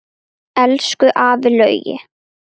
Elsku afi Laugi.